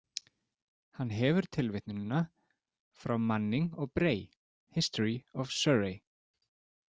Hann hefur tilvitnunina frá Manning og Bray, History of Surrey.